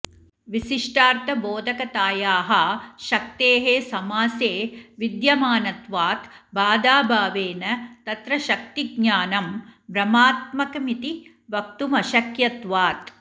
विशिष्टार्थबोधकतायाः शक्तेः समासे विद्यमानत्वात् बाधाभावेन तत्र शक्तिज्ञानं भ्रमात्मकमिति वक्तुमशक्यत्वात्